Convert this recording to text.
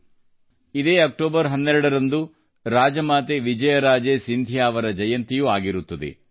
ಇದೇ 12ನೇ ಅಕ್ಟೋಬರ್ದಂದು ರಾಜಮಾತೆ ವಿಜಯರಾಜೇ ಸಿಂಧಿಯಾ ಅವರ ಜಯಂತಿಯೂ ಆಗಿರುತ್ತದೆ